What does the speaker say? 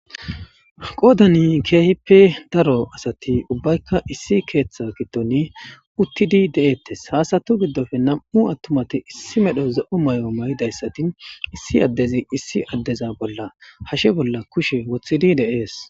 Goodani keehippe daro asati ubbaykka issi keeththa gitoni uttidi de'ettes haasatu giddofe nam'u attumati issi medho za'o may'o may'idayssati issi addezi issi addeza bolla hashe bolla kushe woththidi deees.